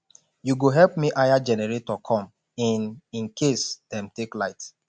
you go help me hire generator come in in case dem take light